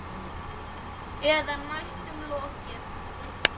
Eða næstum lokið.